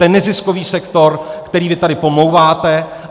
Ten neziskový sektor, který vy tady pomlouváte.